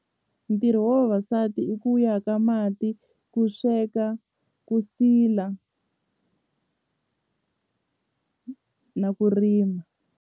Ntirho wa vavasati i ku ya ka mati ku sweka ku sila na ku rima.